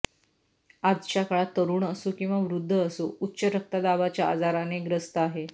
आजच्या काळात तरुण असो किंवा वृद्ध असो उच्च रक्तदाबाच्या आजाराने ग्रस्त आहे